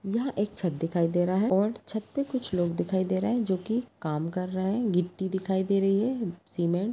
यहाँ एक छत दिखाई दे रहा है और छत पे कुछ लोग दिखाई दे रहा है जो कि काम कर रहा है गिट्टी दिखाई दे रही है। सीमेंट ----